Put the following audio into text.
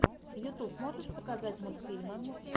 ютюб можешь показать мультфильмы